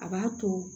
A b'a to